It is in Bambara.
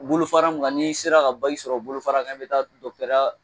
U bolofara min kan n'i sera ka sɔrɔ bolofara kan i bɛ taa dɔgɔtɔrɔya